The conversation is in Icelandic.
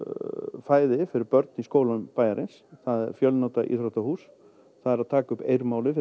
fæði fyrir börn í skólum bæjarins það er fjölnota íþróttahús það er að taka upp Eir málið fyrir